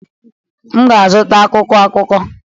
M ga-azụta akwụkwọ akụkọ.